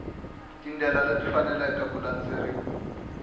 tindlela leti faneleke ku landzeriwa